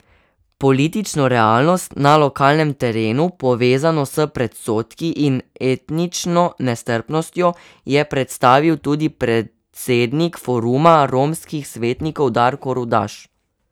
Politično realnost na lokalnem terenu, povezano s predsodki in etnično nestrpnostjo, je predstavil tudi predsednik Foruma romskih svetnikov Darko Rudaš.